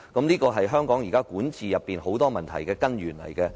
這是香港眾多管治問題的根源。